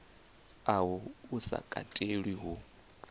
uhu u sa katelwa hu